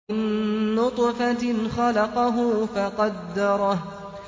مِن نُّطْفَةٍ خَلَقَهُ فَقَدَّرَهُ